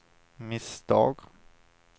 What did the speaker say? misstag